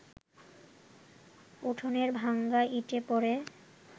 উঠোনের ভাঙা ইটে পড়ে